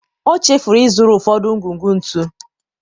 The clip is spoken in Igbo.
ọ chefuru ịzụrụ ụfọdụ ngwugwu ntu.